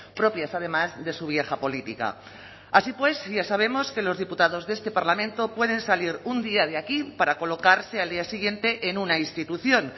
propias además de su vieja política así pues ya sabemos que los diputados de este parlamento pueden salir un día de aquí para colocarse al día siguiente en una institución